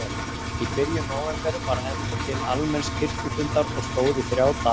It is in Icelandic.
Í byrjun nóvember var efnt til almenns kirkjufundar og stóð í þrjá daga.